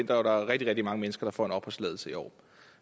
der er rigtig rigtig mange mennesker der får en opholdstilladelse i år